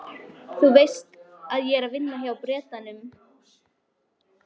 Sjálfboðaliðar í grunni fyrirhugaðs stúdentagarðs á Skólavörðuholti